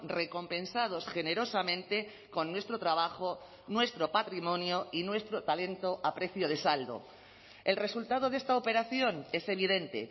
recompensados generosamente con nuestro trabajo nuestro patrimonio y nuestro talento a precio de saldo el resultado de esta operación es evidente